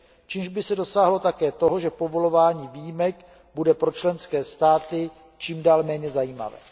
čímž by se dosáhlo také toho, že povolování výjimek bude pro členské státy čím dál méně zajímavé.